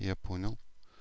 я понял